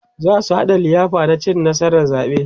zasu haɗa liyafa na cin nasarar zaɓe